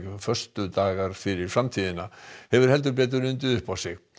föstudagar fyrir framtíðina hefur heldur betur undið upp á sig